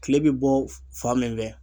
Kile bi bɔ fan min fɛ